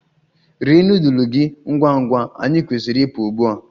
Rie nudulu gị ngwa ngwa! Anyị kwesịrị ịpụ ugbu a.